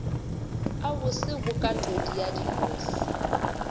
a bose bokatodi ya dinose